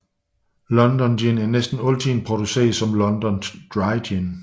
London Gin er næsten altid produceret som London Dry Gin